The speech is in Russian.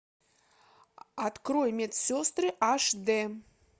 открой медсестры аш дэ